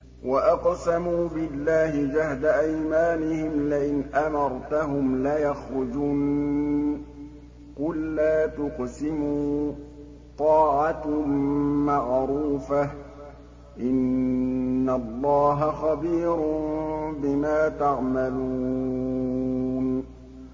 ۞ وَأَقْسَمُوا بِاللَّهِ جَهْدَ أَيْمَانِهِمْ لَئِنْ أَمَرْتَهُمْ لَيَخْرُجُنَّ ۖ قُل لَّا تُقْسِمُوا ۖ طَاعَةٌ مَّعْرُوفَةٌ ۚ إِنَّ اللَّهَ خَبِيرٌ بِمَا تَعْمَلُونَ